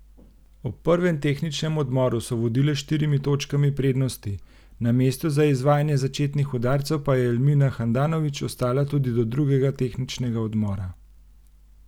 Ob prvem tehničnem odmoru so vodile s štirimi točkami prednosti, na mestu za izvajanje začetnih udarcev pa je Elmina Handanovič ostala tudi do drugega tehničnega odmora.